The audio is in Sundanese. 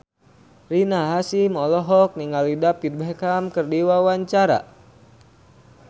Rina Hasyim olohok ningali David Beckham keur diwawancara